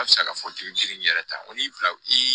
A bɛ se k'a fɔ k'i bɛ girin n yɛrɛ ta ko n'i bila i